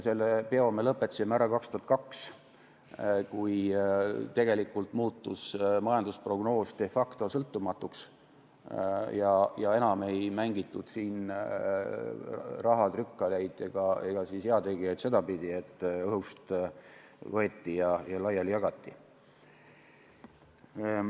Selle peo me lõpetasime ära 2002, kui tegelikult muutus majandusprognoos de facto sõltumatuks ja enam ei mängitud siin rahatrükkaleid ega heategijaid sedapidi, et õhust võeti ja jagati laiali.